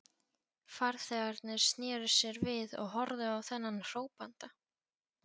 Farþegarnir sneru sér við og horfðu á þennan hrópanda.